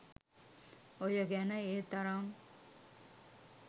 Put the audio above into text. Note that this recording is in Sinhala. ඔය ගැන ඒ තරම්